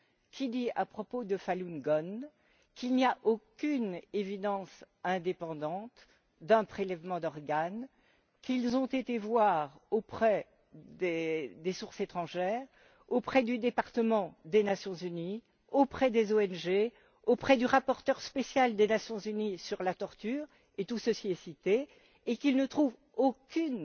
qui dit, à propos de Falun Gong, qu'il n'y a aucune preuve indépendante d'un prélèvement d'organes, qu'ils ont été voir auprès des sources étrangères, auprès du département des Nations unies, auprès des ONG, auprès du rapporteur spécial des Nations unies sur la torture et tout ceci est cité et qu'ils ne trouvent aucune